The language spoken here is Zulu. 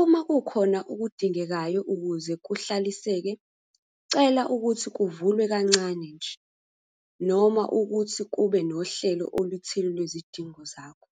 Uma kukhona okudingekayo ukuze kuhlaliseke, cela ukuthi kuvulwe kancane nje noma ukuthi kube nohlelo oluthile lwezidingo zakho.